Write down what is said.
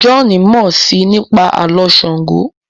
John mọ sii nípa Àló̩ Ṣàngó